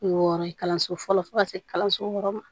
Wɔɔrɔ ye kalanso fɔlɔ fo ka se kalanso wɔɔrɔ ma